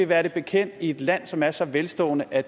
være det bekendt i et land som er så velstående at